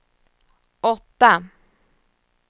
åtta